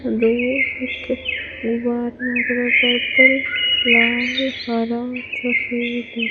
दो एक पर्पल लाल हरा सफेद --